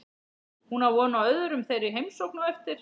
Hún á von á öðrum þeirra í heimsókn á eftir.